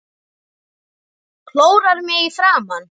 Klórar mig í framan.